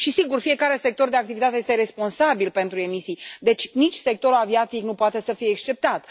Sigur, fiecare sector de activitate este responsabil pentru emisii, deci nici sectorul aviatic nu poate să fie exceptat.